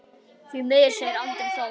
Því miður, segir Andri Þór.